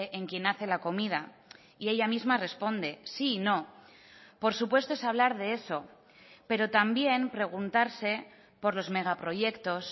en quien hace la comida y ella misma responde sí y no por supuesto es hablar de eso pero también preguntarse por los megaproyectos